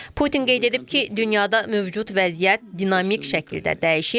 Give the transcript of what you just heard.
Putin qeyd edib ki, dünyada mövcud vəziyyət dinamik şəkildə dəyişir.